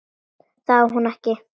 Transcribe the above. Það á hún ekki.